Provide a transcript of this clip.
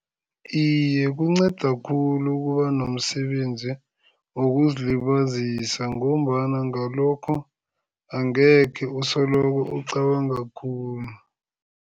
Iye, kunceda khulu ukuba nomsebenzi wokuzilibazisa ngombana ngalokho, angekhe usolokhu ucabanga khulu.